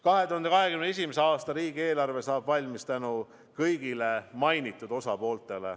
2021. aasta riigieelarve saab valmis tänu kõigile mainitud osapooltele.